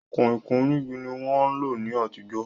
Kọ̀ìnkọ̀ìn onígi ni wọ́n ń lò ní àtijọ́